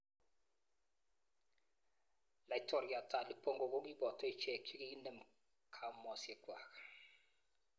Laitoriat Ali Bongo kokiboto ichek chekiinem kaumosiekwak.